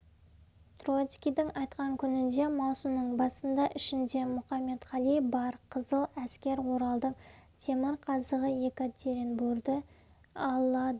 троцкийдің айтқан күнінде маусымның басында ішінде мұқаметқали бар қызыл әскер оралдың темірқазығы екатеринборды алады